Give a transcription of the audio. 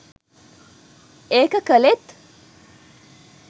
ඒක කලෙත්